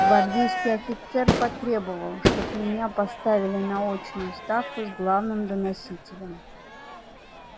гвардейский офицер потребовал чтоб меня поставили на очную ставку с главным доносителем